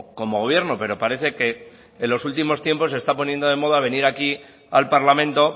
como gobierno pero parece que en los últimos tiempos se está poniendo de moda venir aquí al parlamento